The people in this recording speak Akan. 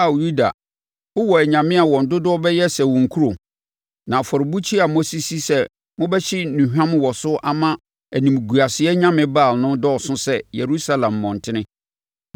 Ao Yuda, wowɔ anyame a wɔn dodoɔ bɛyɛ sɛ wo nkuro; na afɔrebukyia a moasisi sɛ mobɛhye nnuhwam wɔ so ama animguaseɛ nyame Baal no dɔɔso sɛ Yerusalem mmɔntene.’